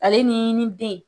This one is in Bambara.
Ale ni ni den.